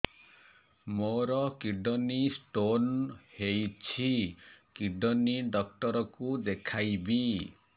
ମୋର kidney stone ହେଇଛି kidney doctor କୁ ଦେଖାଇବି